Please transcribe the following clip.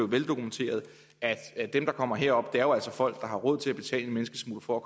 veldokumenteret at dem der kommer herop jo altså er folk der har råd til at betale en menneskesmugler for at